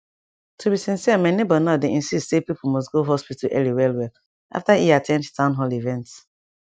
to be sincere my neighbor now dey insist say people must go hospital early well well after e at ten d town hall event